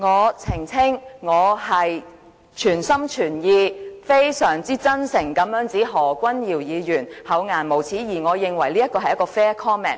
我澄清，我是全心全意、非常真誠地指何君堯議員厚顏無耻，而我認為這是 fair comment。